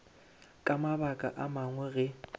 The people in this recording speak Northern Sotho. ka mabaka a mangwe ge